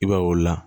I b'a ye o la